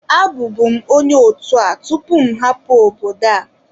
Abụbu m onye otu a tupu m hapụ obodo a